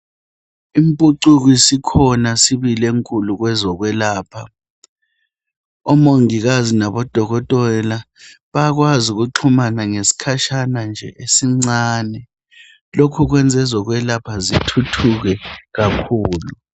Impucuko isikhona sibili enkulu kwezokwelapha. Omongikazi labodokotela bayakwazi ukuxhumana ngesikhatshana nje esincinyane lokho kwenza ezokwelapha zithuthuke kakhulu.